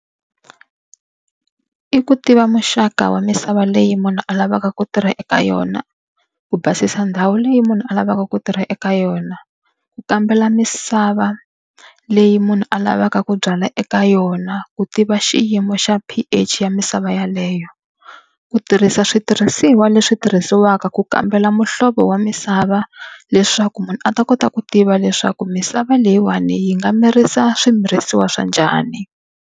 I ku tiva muxaka wa misava leyi munhu a lavaka ku tirha eka yona, ku basisa ndhawu leyi munhu a lavaka ku tirha eka yona, ku kambela misava leyi munhu a lavaka ku byala eka yona, ku tiva xiyimo xa P_H ya misava yaleyo. Ku tirhisa switirhisiwa leswi tirhisiwaka ku kambela muhlovo wa misava, leswaku munhu a ta kota ku tiva leswaku misava leyiwani yi nga mirisa swimirisiwa swa njhani.